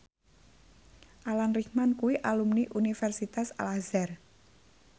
Alan Rickman kuwi alumni Universitas Al Azhar